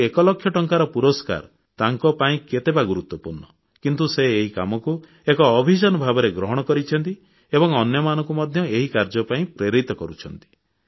ଆଉ ଏକଲକ୍ଷ ଟଙ୍କାର ପୁରସ୍କାର ତାଙ୍କ ପାଇଁ କେତେ ବା ଗୁରୁତ୍ୱପୂର୍ଣ୍ଣ କିନ୍ତୁ ସେ ଏହି କାମକୁ ଏବେ ଅଭିଯାନ ଭାବରେ ଗ୍ରହଣ କରିଛନ୍ତି ଏବଂ ଅନ୍ୟମାନଙ୍କୁ ମଧ୍ୟ ଏହି କାର୍ଯ୍ୟ ପାଇଁ ପ୍ରେରିତ କରୁଛନ୍ତି